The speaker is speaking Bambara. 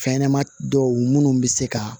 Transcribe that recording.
Fɛnɲɛnɛma dɔw minnu bɛ se ka